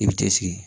I bɛ cɛ sigi